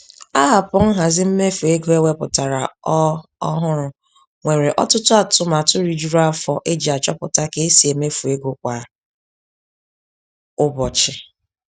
Aapụ nhazi mmefu ego e wepụtara ọ ọ hụrụ nwere ọtụtụ atụmatụ rijuru afọ eji achọpụta ka e si emefu ego kwa ụbọchị.